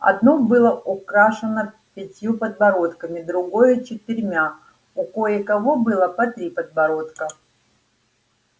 одно было украшено пятью подбородками другое четырьмя у кое-кого было по три подбородка